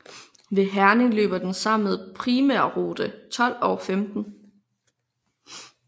Ved Herning løber den sammen med primærrute 12 og 15